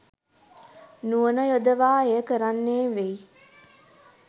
නුවණ යොදවා එය කරන්නේ වෙයි